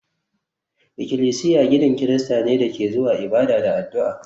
Ikilisiya ginin Kirista ne da ke zuwa ibada da addu'a